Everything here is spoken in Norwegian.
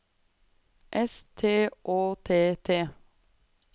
S T Å T T